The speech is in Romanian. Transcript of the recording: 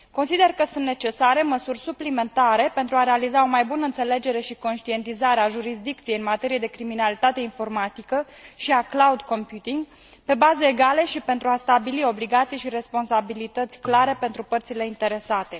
Consider că sunt necesare măsuri suplimentare pentru a realiza o mai bună înțelegere și conștientizare a jurisdicției în materie de criminalitate informatică și a cloud computingului pe baze egale și pentru a stabili obligații și responsabilități clare pentru părțile interesate.